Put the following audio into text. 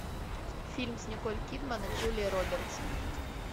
фильм с николь кидман и джулией робертс